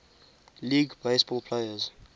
league baseball players